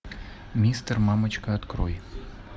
мистер мамочка открой